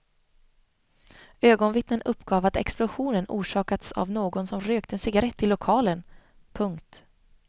Ögonvittnen uppgav att explosionen orsakats av någon som rökt en cigarett i lokalen. punkt